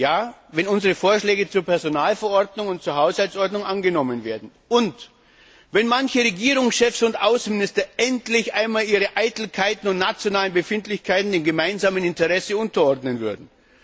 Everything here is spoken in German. Ja, wenn unsere Vorschläge zur Personalverordnung und zur Haushaltsordnung angenommen werden und wenn manche Regierungschefs und Außenminister endlich einmal ihre Eitelkeiten und nationalen Befindlichkeiten dem gemeinsamen Interesse unterordnen würden.